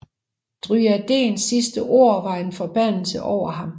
Dryadens sidste ord var en forbandelse over ham